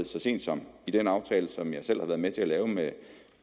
så sent som i den aftale som jeg selv har været med til at lave med